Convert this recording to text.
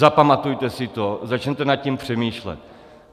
Zapamatujte si to, začněte nad tím přemýšlet.